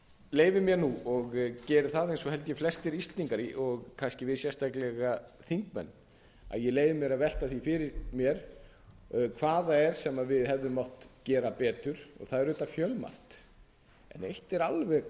leyfi mér nú og geri það eins og held ég flestir íslendingar og kannski við sérstaklega þingmenn að ég leyfi mér að velta því fyrir mér hvað það er sem við hefðum mátt gera betur og það er auðvitað fjölmargt en eitt er alveg